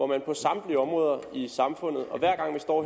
man på samtlige områder i samfundet og hver gang vi står